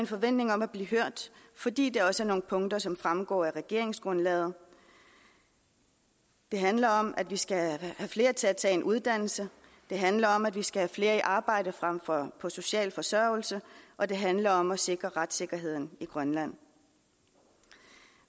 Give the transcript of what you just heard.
forventning om at blive hørt fordi der også er nogle punkter som fremgår af regeringsgrundlaget det handler om at vi skal have flere til at tage en uddannelse det handler om at vi skal have flere i arbejde frem for på social forsørgelse og det handler om at sikre retssikkerheden i grønland